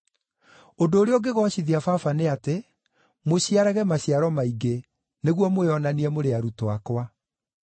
Ũndũ ũrĩa ũngĩgoocithia Baba nĩ atĩ, mũciarage maciaro maingĩ nĩguo mwĩonanie mũrĩ arutwo akwa.